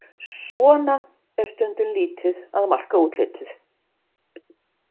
Svona er stundum lítið að marka útlitið.